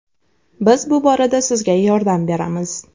Biz bu borada sizga yordam beramiz.